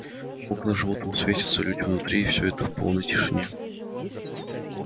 окна жёлтым светятся люди внутри и всё это в полной тишине